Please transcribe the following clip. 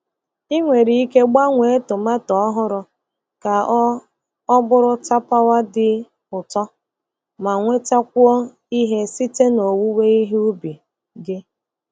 Ị nwere ike gbanwee tomato ọhụrụ ka ọ ọ bụrụ tapawa dị ụtọ ma nwetakwuo ihe site na owuwe ihe ubi gị.